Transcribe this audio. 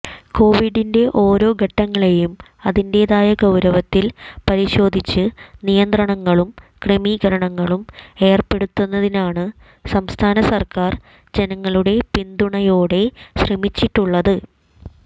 കോവിഡിന്റെ ഒരോ ഘട്ടങ്ങളെയും അതിന്റേതായ ഗൌരവത്തിൽ പരിശോധിച്ച് നിയന്ത്രണങ്ങളും ക്രമീകരണങ്ങളും ഏർപ്പെടുത്തുന്നതിനാണ് സംസ്ഥാന സർക്കാർ ജനങ്ങളുടെ പിന്തുണയോടെ ശ്രമിച്ചിട്ടുള്ളത്